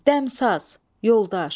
Dəmsaz, yoldaş.